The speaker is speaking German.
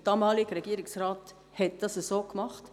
Der damalige Regierungsrat hat das entsprechend gemacht.